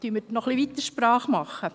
Machen wir noch etwas weiter Sprache.